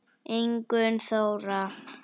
Ingunn Þóra.